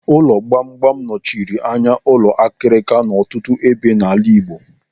Ụlọ gbamgbam anọchile anya ụlọ akirika n'ọtụtụ ebe n'ala Igbo.